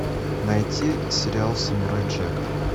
найти сериал самурай джек